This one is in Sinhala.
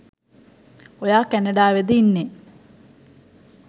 ඔයා කැනඩාවෙද ඉන්නෙ